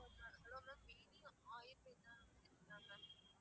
hello mam Veni Ayurveda mam